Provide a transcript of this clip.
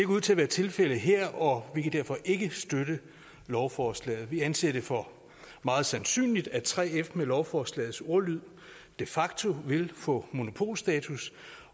ud til at være tilfældet her og vi kan derfor ikke støtte lovforslaget vi anser det for meget sandsynligt at 3f med lovforslagets ordlyd de facto vil få monopolstatus